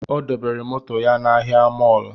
Ọ debere moto ya n'ahịa mọlụ